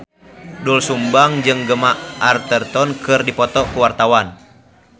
Doel Sumbang jeung Gemma Arterton keur dipoto ku wartawan